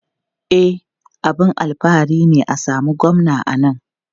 E, abin alfahari ne a samu Gwamna a nan.